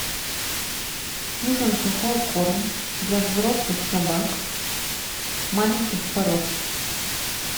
нужен сухой корм для взрослых собак маленьких пород